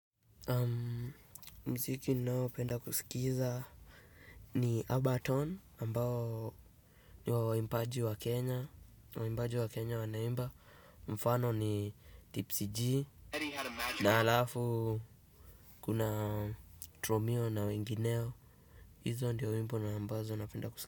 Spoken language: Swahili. Muziki ninaopenda kusikiza ni urbantone ambao ni wa waimbaji wa Kenya wanaimba mfano ni tipsy gee na alafu kuna triomio na wengineo hizo ndiyo wimbo na ambazo napenda kusikiza.